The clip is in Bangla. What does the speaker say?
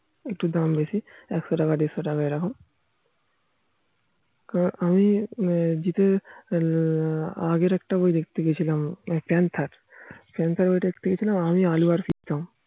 একটু দাম বেশি একশো টাকা দেড়শো টাকা এরকম কারণ আমি জিতের আগের একটা বই দেখতে গিয়েছিলাম panther~ panther বই দেখতে গিয়েছিলাম আমি আলু আর প্রীতম একটু দাম বেশি একশো টাকা দেড়শো টাকা এরকম